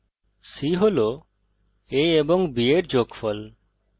c হল a ও b এর যোগফল